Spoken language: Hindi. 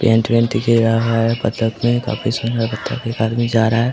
पेंट वेंट दिख ही रहा है बतख में काफी सुंदर बतख है एक आदमी जा रहा है।